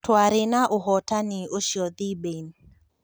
" Tũarĩ na ũhotani ũcio Thibain.